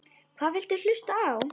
Hvað viltu hlusta á?